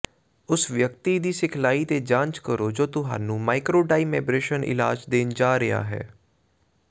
ਉਸ ਵਿਅਕਤੀ ਦੀ ਸਿਖਲਾਈ ਤੇ ਜਾਂਚ ਕਰੋ ਜੋ ਤੁਹਾਨੂੰ ਮਾਈਕ੍ਰੋਡਾਈਮੇਬ੍ਰੇਸ਼ਨ ਇਲਾਜ ਦੇਣ ਜਾ ਰਿਹਾ ਹੈ